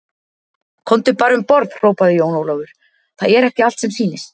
Komdu bara um borð, hrópaði Jón Ólafur, það er ekki allt sem sýnist.